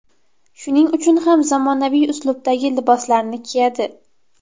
Shuning uchun ham zamonaviy uslubdagi liboslarni kiyadi.